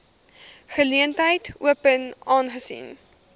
geleentheid open aangesien